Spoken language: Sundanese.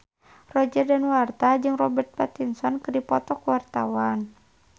Roger Danuarta jeung Robert Pattinson keur dipoto ku wartawan